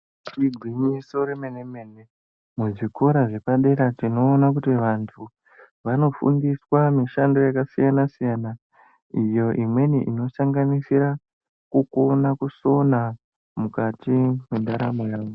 Igwinyiso remenemene muzvikora zvepadera tinoona kuti vanhu vanofundiswa mishando yakasiyanasiyana iyo imweni inosanganisira kukone kusona mukati mwendaramo yavo.